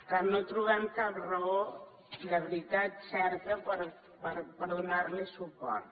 per tant no trobem cap raó de veritat certa per donarli suport